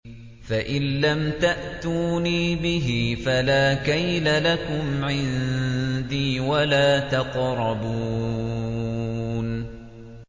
فَإِن لَّمْ تَأْتُونِي بِهِ فَلَا كَيْلَ لَكُمْ عِندِي وَلَا تَقْرَبُونِ